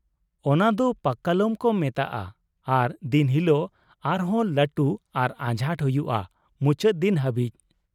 ᱚᱱᱟ ᱫᱚ ᱯᱟᱠᱠᱟᱞᱟᱢ ᱠᱚ ᱢᱮᱛᱟᱜᱼᱟ ᱟᱨ ᱫᱤᱱ ᱦᱤᱞᱳᱜ ᱟᱨ ᱦᱚᱸ ᱞᱟᱹᱴᱩ ᱟᱨ ᱟᱡᱷᱟᱴ ᱦᱩᱭᱩᱜᱼᱟ ᱢᱩᱪᱟᱹᱫ ᱫᱤᱱ ᱦᱟᱹᱵᱤᱡ ᱾